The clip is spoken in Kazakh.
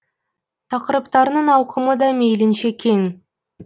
тақырыптарының ауқымы да мейлінше кең